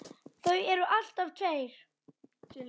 Það eru alltaf tveir